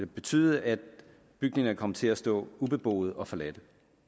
betyde at bygninger kommer til at stå ubeboede og forladte